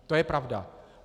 To je pravda.